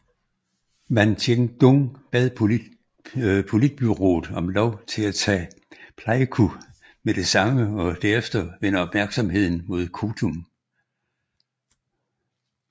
Van Tieng Dung bad politbureauet om lov til at tage Pleiku med det samme og derefter vende opmærksomheden mod Kontum